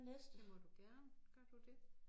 Det må du gerne gør du det